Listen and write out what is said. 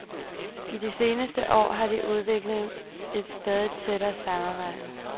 I de seneste år har de udviklet et stadig tættere samarbejde.